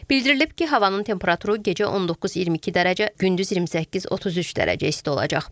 Bildirilib ki, havanın temperaturu gecə 19-22 dərəcə, gündüz 28-33 dərəcə isti olacaq.